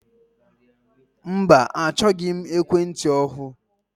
Mba achọghị m ekwentị ọhụụ.